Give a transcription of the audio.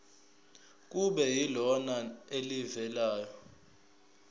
kube yilona elivela